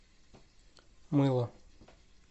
мыло